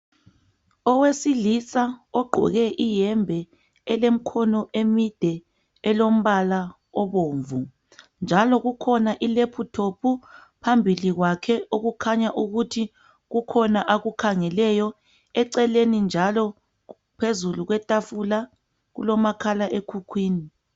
Owesilisa ogqoke iyembe elemkhono emide elombala obomvu. Njalo kukhona ilephuthophu, phambili kwakhe okukhanya ukuthi kukhona akukhangeleyo. Eceleni njalo phezulu kwetafula kulomakhala ekhukhwini.